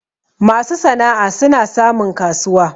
masu sana'a suna samun kasuwa